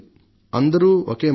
అందరిదీ ఒకే మాట